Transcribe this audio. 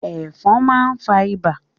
Ẹ̀fọn máa n fa ibà.